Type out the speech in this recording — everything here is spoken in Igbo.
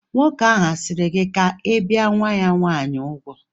Nwoke ahụ a sịrị gị ka ị bìe nwa-ya nwaanyị úgwù?